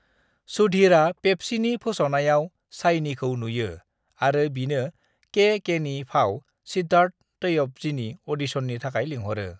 सुधीरआ पेप्सीनि फोसावनायाव शाइनीखौ नुयो आरो बिनो के. केनि फाव - सिद्धार्थ तैयबजीनि अ'डिशननि थाखाय लिंहरो।